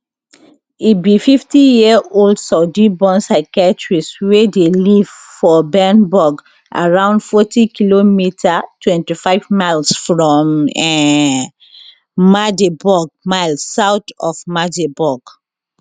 e be fifty year old saudiborn psychiatrist wey dey live for bernburg around fouty kilometers twenty five miles from um magdeburg miles south of magdeburg